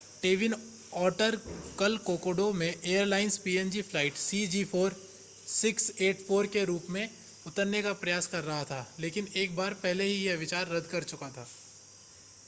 twin otter कल Kokoda में airlines PNG flight cg4684 के रूप में उतरने का प्रयास कर रहा था लेकिन एक बार पहले ही यह विचार रद्द कर चुका था